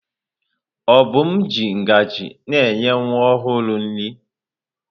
Obum ji ngaji na-enye nwa ọhụrụ nri.